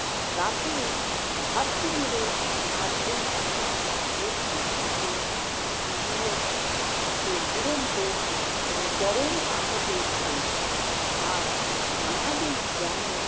রাতে ঘাপটি মেরে পাঁচজন সেনা প্রস্তুত থাকে দুর থাকে দুরন্ত ও চরম আঘাতের জন্য, আর নানাবিধ গ্রামের